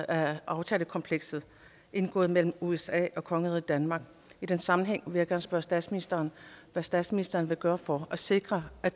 af aftalekomplekset indgået mellem usa og kongeriget danmark i den sammenhæng vil jeg gerne spørge statsministeren hvad statsministeren vil gøre for at sikre at